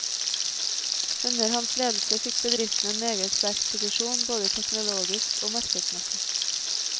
Under hans ledelse fikk bedriften en meget sterk posisjon både teknologisk og markedsmessig.